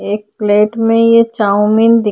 एक प्लेट में ये चाव्मीन दी --